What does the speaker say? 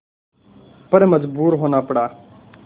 पर मजबूर होना पड़ा